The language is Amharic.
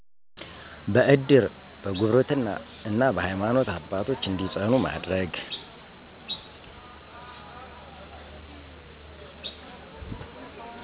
በእድር፣ በጉርብትና እና በሀይማኖት አባቶች እንዲፅናኑ ማድረግ